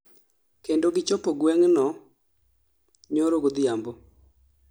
kendo gichopo gweng'no nyoro godhiambo